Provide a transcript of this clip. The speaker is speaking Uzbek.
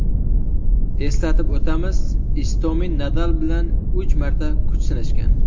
Eslatib o‘tamiz, Istomin Nadal bilan uch marta kuch sinashgan.